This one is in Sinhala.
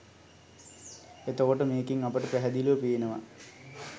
එතකොට මේකෙන් අපට පැහැදිලිව පේනවා